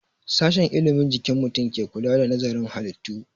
Sashen ilimin jikin mutum ke kula da nazarin halittu